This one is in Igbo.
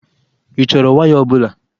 Ị chọrọ waya ọbụla?